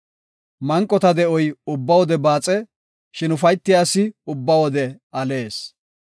Manqota de7oy ubba wode baaxe; shin ufaytiya asi ubba wode alees.